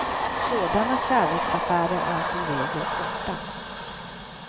Sådana kärleksaffärer är som regel korta.